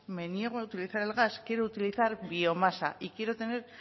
me niego a utiliza el gas quiero utilizar biomasa y quiero tener